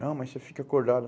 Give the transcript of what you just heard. Não, mas você fica acordado.